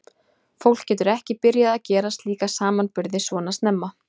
Fólk getur ekki byrjað að gera slíka samanburði svona snemma.